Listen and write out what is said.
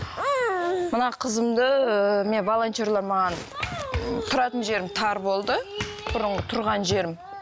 мына қызымды ыыы мен волонтерлар маған тұратын жерім тар болды бұрынғы тұрған жерім